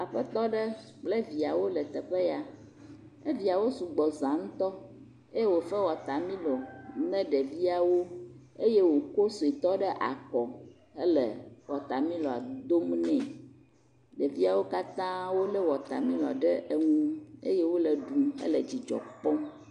Aƒetɔ aɖe kple viawo le teƒe ya, eviawo sɔgbɔ za ŋutɔ, eye wòfe wɔtamilo ne ɖeviawo eye wòkɔ ɖevia suetɔ ɖe akɔ hele wɔtamiloa dom ne, ɖeviawo katãa wolé wɔtamilo ɖe nu eye wole ɖum hele dzidzɔ kpɔm